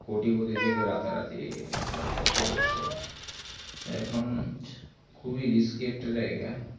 কোটিপতি থেকে রাতারাতি একদম পথে বসছে এখুন খুবই risky একটা জায়গা